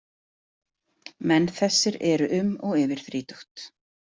Menn þessir eru um og yfir þrítugt.